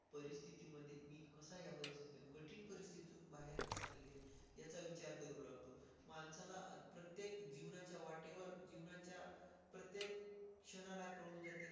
याचा विचार करू लागतो. माणसाला प्रत्येक जीवनाच्या वाटेवर जीवनाच्या प्रत्येक क्षणाला कळून जाते.